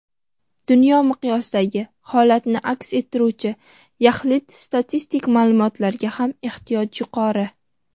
dunyo miqyosidagi holatni aks ettiruvchi yaxlit statistik ma’lumotlarga ham ehtiyoj yuqori.